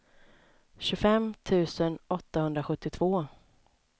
tjugofem tusen åttahundrasjuttiotvå